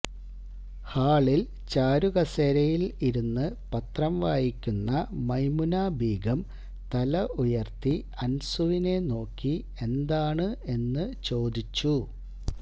ഹാളിൽ ചാരുകസേരയിൽ ഇരുന്ന് പത്രം വായിക്കുന്ന മൈമുനബീഗം തല ഉയർത്തി അൻസുവിനെ നോക്കി എന്താണ് എന്ന് ചോദിച്ചു